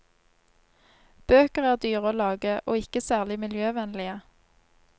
Bøker er dyre å lage, og ikke særlig miljøvennlige.